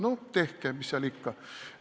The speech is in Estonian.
No tehke, mis seal ikka!